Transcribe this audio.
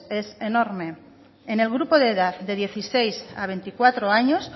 es enorme en el grupo de edad de dieciséis a veinticuatro años